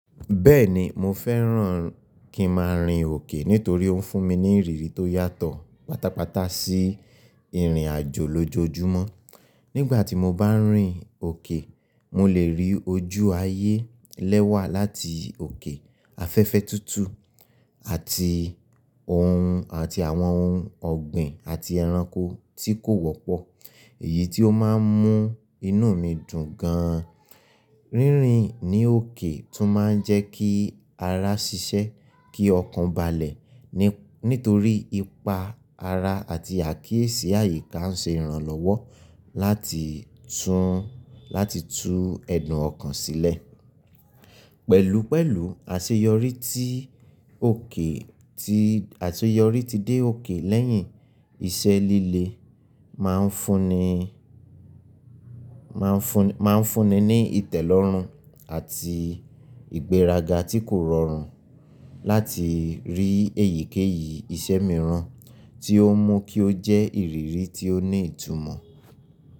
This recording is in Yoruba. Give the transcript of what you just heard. Bẹ́ẹ̀ni, mo fẹ́ràn kí n máa rìn òkè nítorí ó ń fún mi ní ìrírí tó yàtọ̀ pátápátá sí ìrìnàjò lójoojúmọ́. Nígbà tí mo bá ń rìn òkè, mo lè rí ojú ayé lẹ́wà láti òkè, afẹ́fẹ́ tútù àti ohun àti àwọn ohun ọ̀gbìn àti ẹranko tí kò wọ́pọ̀, èyí tí ó máa ń mú inú mi dùn gan. Rínrin ní òkè tún máa ń jẹ́ kí ara ṣiṣẹ́ kí ọkàn balẹ̀ nítorí ipa ara àti àkíyèsí àyíká ń ṣe ìrànlọ́wọ́ láti tún láti tú ẹ̀dùn ọkàn sílẹ̀. Pẹ̀lúpẹ̀lú àṣeyọrí tí òkè tí àṣeyọrí ti dé òkè lẹ́yìn iṣẹ́ líle máa ń fúnni máa ń fúnni máa ń fúnni ní ìtẹ́lọ́rùn àti ìgbéraga tí kò rọrùn láti rí èyíkéyìí iṣẹ́ mìíràn tí ó mú kí ó jẹ́ ìrírí tí ó ní ìtumọ̀.